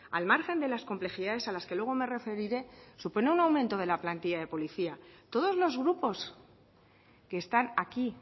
al margen de las complejidades a las que luego me referiré supone un aumento de la plantilla de policía todos los grupos que están aquí